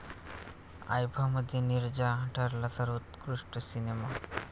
आयफा'मध्ये नीरजा ठरला सर्वोत्कृष्ट सिनेमा